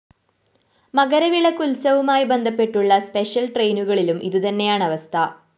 മകരവിളക്ക് ഉത്സവവുമായി ബന്ധപ്പെട്ടുള്ള സ്പെഷ്യൽ ട്രെയിനുകളിലും ഇതുതന്നെയാണവസ്ഥ